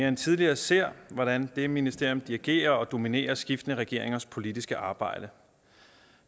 end tidligere ser hvordan det ministerium dirigerer og dominerer skiftende regeringers politiske arbejde